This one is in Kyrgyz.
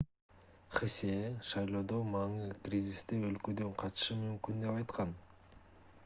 хсе шайлоодо маны кризисте өлкөдөн качышы мүмкүн деп айткан